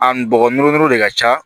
A npogo noro nɔrɔ de ka ca